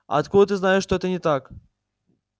а откуда ты знаешь что это не так